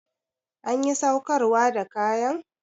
Anƴi saukarwa da kaƴan?